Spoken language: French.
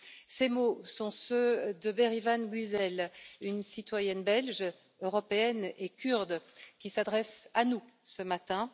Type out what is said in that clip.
Ces mots sont ceux de Bérivan Güzel, une citoyenne belge, européenne et kurde, qui s'adresse à nous ce matin.